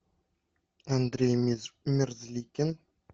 андрей мерзликин